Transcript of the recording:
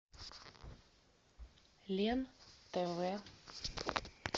лен тв